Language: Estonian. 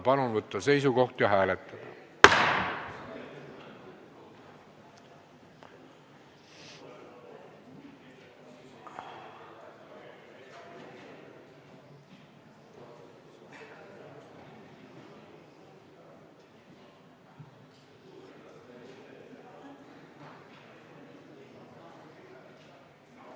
Palun võtta seisukoht ja hääletada!